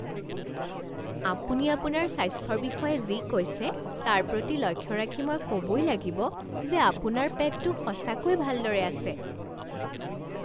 আপুনি আপোনাৰ স্বাস্থ্যৰ বিষয়ে যি কৈছে তাৰ প্ৰতি লক্ষ্য ৰাখি মই ক'বই লাগিব যে আপোনাৰ পেটটো সঁচাকৈয়ে ভালদৰে আছে।